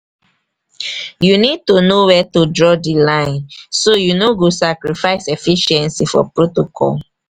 you need to know where to draw di line so you no go sacrifice efficiency for protocol.